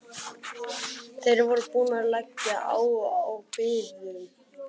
Þeir voru búnir að leggja á og biðu.